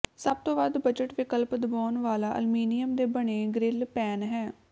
ਸਭ ਤੋਂ ਵੱਧ ਬਜਟ ਵਿਕਲਪ ਦਬਾਉਣ ਵਾਲਾ ਅਲਮੀਨੀਅਮ ਦੇ ਬਣੇ ਗ੍ਰਿਲ ਪੈਨ ਹੈ